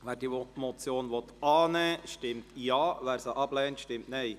Wer diese Motion annehmen will, stimmt Ja, wer diese ablehnt, stimmt Nein.